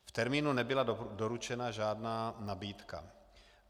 V termínu nebyla doručena žádná nabídka.